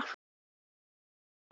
Sighvatur Jónsson: Hvað þýðir það þá?